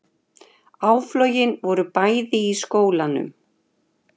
Áflogin voru bæði í skólanum